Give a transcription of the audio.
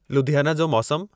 लुधियाना जो मौसमु